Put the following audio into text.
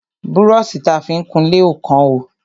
Brọ́ṣì ta fi ń kunlé ò kán o.